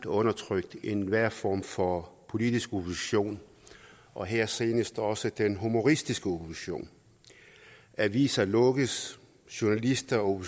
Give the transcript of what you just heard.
undertrykt enhver form for politisk opposition og her senest også den humoristiske opposition aviser lukkes journalister og